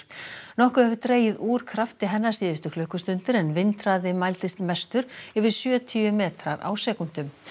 nokkuð hefur dregið úr krafti hennar síðustu klukkustundir en vindhraði mældist mestur yfir sjötíu metrar á sekúndu